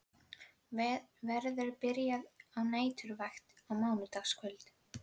Verður byrjað á næturvakt á mánudagskvöld.